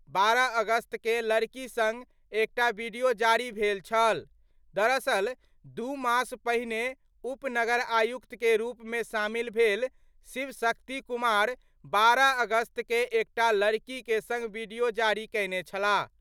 12 अगस्त कें लड़की संग एकटा वीडियो जारी भेल छल : दरअसल, दू मास पहिने उप नगर आयुक्त के रूप में शामिल भेल शिव शक्ति कुमार 12 अगस्त क' एकटा लड़की के संग वीडियो जारी कयने छलाह।